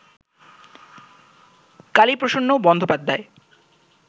Kaliprasanna Bandyopadhyay